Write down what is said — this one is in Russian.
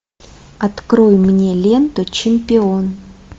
открой мне ленту чемпион